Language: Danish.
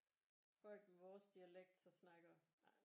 Folk med vores dialekt så snakker